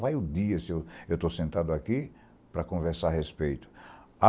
Vai o dia, se eu estou sentado aqui, para conversar a respeito.